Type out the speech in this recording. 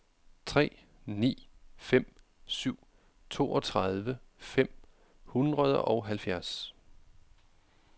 tre ni fem syv toogtredive fem hundrede og halvfjerds